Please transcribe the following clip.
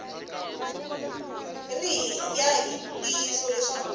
ri hi ya ntiyiso leswaku